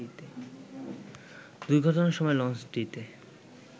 দুর্ঘটনার সময় লঞ্চটিতে